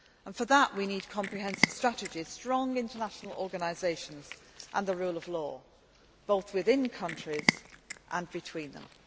For this, we need comprehensive strategies, strong international organisations and the rule of law both within countries and between them.